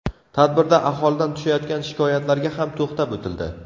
Tadbirda aholidan tushayotgan shikoyatlarga ham to‘xtab o‘tildi.